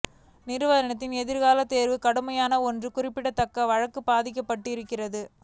நிறுவனத்தின் எதிர்கால தேர்வு கடுமையாக ஒன்று குறிப்பிடத்தக்க வழக்கு பாதிக்கப்பட்டிருக்கிறது